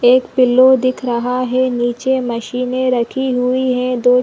एक पिलो दिख रहा है निचे मशीने रखी हुई है दो --